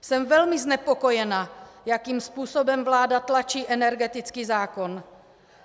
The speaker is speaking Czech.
Jsem velmi znepokojena, jakým způsobem vláda tlačí energetický zákon.